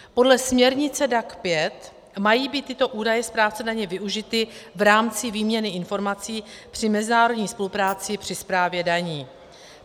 Podle směrnice DAC 5 mají být tyto údaje správcem daně využity v rámci výměny informací při mezinárodní spolupráci při správě daní.